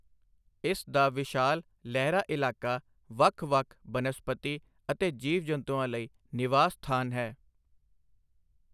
ਇਸ ਦਾ ਵਿਸ਼ਾਲ, ਲਹਿਰਾ ਇਲਾਕਾ ਵੱਖ ਵੱਖ ਬਨਸਪਤੀ ਅਤੇ ਜੀਵ ਜੰਤੂਆਂ ਲਈ ਨਿਵਾਸ ਸਥਾਨ ਹੈ।